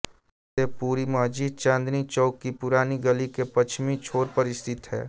फतेहपुरी मस्जिद चांदनी चौक की पुरानी गली के पश्चिमी छोर पर स्थित है